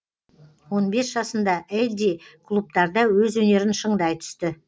он бес жасында эдди клубтарда өз өнерін шыңдай түсті